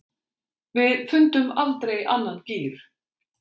Við fundum aldrei annan gír.